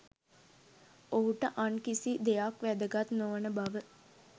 ඔහුට අන් කිසි දෙයක් වැදගත් නොවන බව